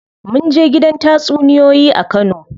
Munje gidan tatsuniyoyi a kano.